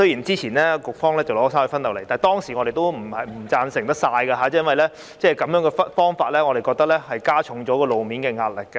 之前局方提交了三隧分流方案，但我們當時並非完全贊同，因為我們認為這方法加重了路面的壓力。